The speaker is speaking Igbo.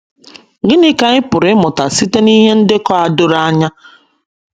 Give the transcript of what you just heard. Gịnị ka anyị pụrụ ịmụta site n’ihe ndekọ a doro anya?